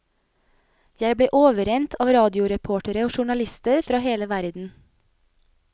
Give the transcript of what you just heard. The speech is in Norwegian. Jeg ble overrent av radioreportere og journalister fra hele verden.